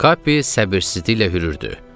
Qapı səbirsizliklə hürürdü.